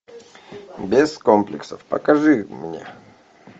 без комплексов покажи мне